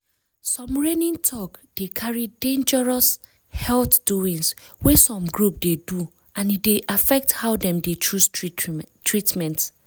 some reigning talk dey carry dangerous health doings wey some group dey do and e dey affect how dem dey choose treatment.